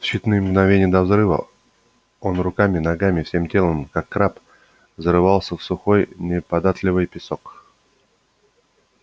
в считаные мгновения до взрыва он руками ногами всем телом как краб зарывался в сухой неподатливый песок